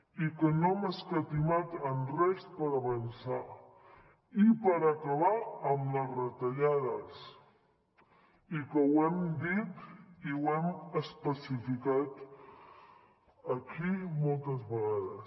i que no hem escatimat en res per avançar i per acabar amb les retallades i que ho hem dit i ho hem especificat aquí moltes vegades